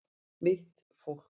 Mitt fólk